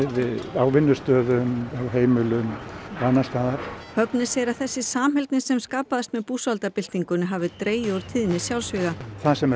á vinnustöðum heimilum og annars staðar Högni segir að þessi samheldni sem skapaðist með búsáhaldabyltingunni hafi dregið úr tíðni sjálfsvíga það sem er